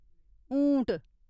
ऊंट